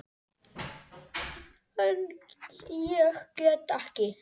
En ég get ekki.